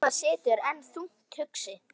Hemmi situr enn þungt hugsi.